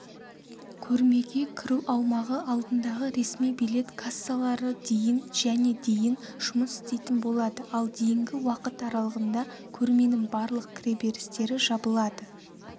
көрмеге кіру аумағы алдындағы ресми билет кассалары дейін және дейін жұмыс істейтін болады ал дейінгі уақыт аралығында көрменің барлық кіреберістері жабылады